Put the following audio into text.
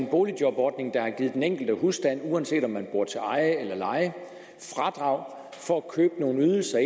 boligjobordningen har givet den enkelte husstand uanset om man bor til eje eller leje fradrag for at købe nogle ydelser